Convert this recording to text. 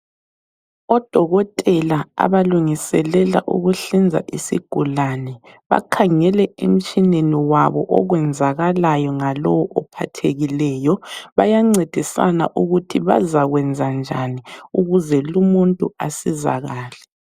Odokotela abalungiselela ukuhlinza isigulane bakhangele emtshineni wabo okwenzakalayo ngalowo ophathekileyo. Bayancedisana ukuthi bazakwenzenjani ukuze lumuntu asizakale.